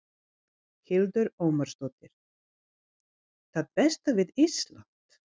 Hildur Ómarsdóttir: Það besta við Ísland?